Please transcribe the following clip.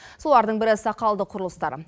солардың бірі сақалды құрылыстар